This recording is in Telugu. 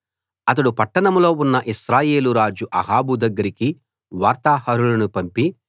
అతడు పట్టణంలో ఉన్న ఇశ్రాయేలు రాజు అహాబు దగ్గరికి వార్తాహరులను పంపి